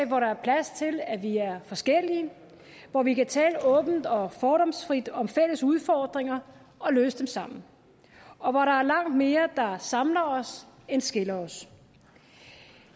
hvor der er plads til at vi er forskellige hvor vi kan tale åbent og fordomsfrit om fælles udfordringer og løse dem sammen og hvor der er langt mere der samler os end skiller os